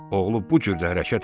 Oğlu bu cür də hərəkət elədi.